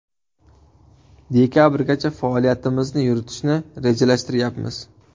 Dekabrgacha faoliyatimizni yuritishni rejalashtiryapmiz.